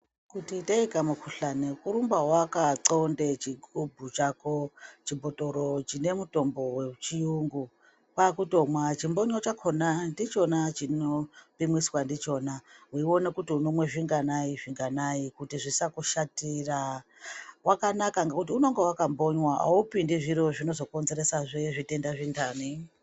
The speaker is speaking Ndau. Kuti itei kamukhuhlani kurumba wakaxlonda kuchigubhu chako chibhotoro chine mutombo wechiyungu. Kwakutomwa. Chimbonyo chakhona ndichona chinopimiswa ndichona weiona kuti unomwa zvinganai zvinganai. Kuti zvisakushatira. Wakanaka ngekuti unenge wakambonywa aupindi zviro zvinozokonzeresa he zvirwere zvinhani.